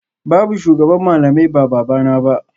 Babu shugaban malamai ba babana ba